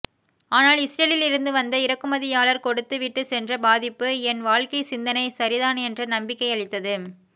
ஆனால் இஸ்ரேலில் இருந்து வந்த இறக்குமதியாளர் கொடுத்து விட்டுச் சென்ற பாதிப்பு என் வாழ்க்கைச் சிந்தனை சரிதான் என்ற நம்பிக்கையளித்தது